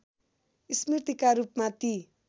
स्मृतिका रूपमा ती